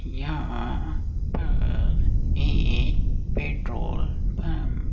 यहां अ एक पेट्रोल पंप --